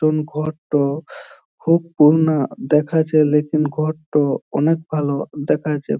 তুম ঘর ট খুব পূর্ণা দেখাচ্ছে | লেকিন ঘর ট অনেক ভালো দেখাচ্ছে ।